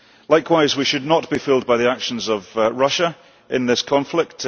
Likewise, we should not be fooled by the actions of Russia in this conflict.